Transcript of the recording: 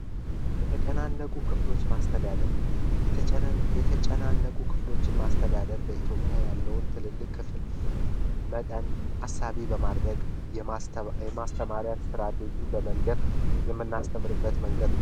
የተጨናነቁ ክፍሎች ማስተዳደር የተጨና የተጨናነቁ ክፍሎችን ማስተዳደር በኢትዮጵያ ያለውን ትልልቅ መጠን ሀሳቤ በማድረግ የማስተማርያት ስትራቴጂ በመንደር የምናስተምርበት መንገድ ነው